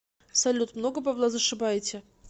салют много бабла зашибаете